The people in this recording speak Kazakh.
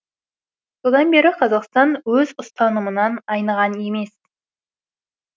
содан бері қазақстан өз ұстанымынан айныған емес